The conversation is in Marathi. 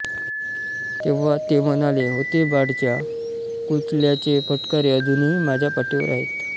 तेव्हा ते म्हणाले होते बाळच्या कुंचल्याचे फटकारे अजूनही माझ्या पाठीवर आहेत